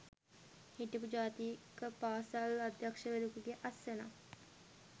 හිටපු ජාතික පාසල් අධ්‍යක්ෂවරයකුගේ අත්සනක්